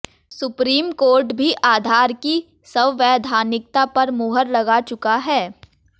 supreme court भी आधार की संवैधानिकता पर मुहर लगा चुका है